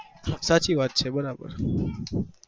સાચી વાત છે બરાબર